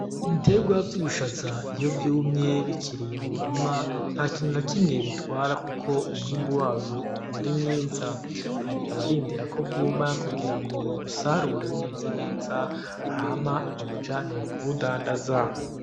Ibiterwa vy'ubushaza iyo vyumye bikiri mu murima nta kintu nakimwe bitwara kuko umwimbu uguma ari mwiza, hari abarindira ko bwuma kugira ngo babusarure bumeze neza babujane kubudandaza.